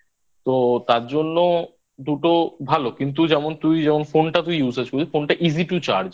তো তার জন্য দুটো ভালো কিন্তু যেমন তুই যেমন Phone টা তুই User বুঝলি Phone টা Easy To Charge